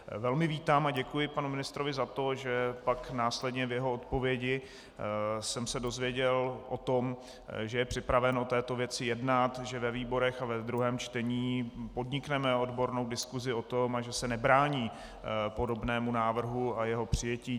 Velmi vítám a děkuji panu ministrovi za to, že pak následně v jeho odpovědi jsem se dozvěděl o tom, že je připraven o této věci jednat, že ve výborech a ve druhém čtení podnikneme odbornou diskusi o tom a že se nebrání podobnému návrhu a jeho přijetí.